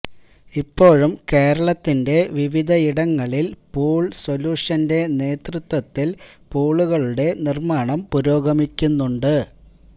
ഇപ്പോഴും കേരളത്തിന്റെ വിവിധയിടങ്ങളില് പൂള് സൊലൂഷന്റെ നേതൃത്വത്തില് പൂളുകളുടെ നിര്മ്മാണം പൂരോഗമിക്കുന്നുണ്ട്